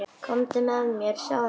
Komdu með mér og sjáðu.